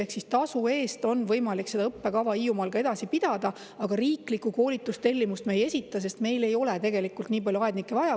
Ehk tasu eest on võimalik seda õppekava Hiiumaal edasi pidada, aga riiklikku koolitustellimust me ei esita, sest meil ei ole nii palju aednikke vaja.